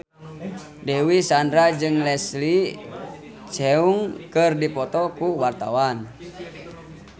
Dewi Sandra jeung Leslie Cheung keur dipoto ku wartawan